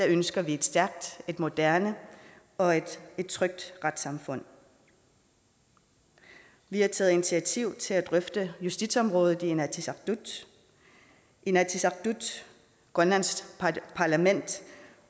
ønsker vi et stærkt et moderne og et trygt retssamfund vi har taget initiativ til at drøfte justitsområdet i inatsisartut inatsisartut grønlands parlament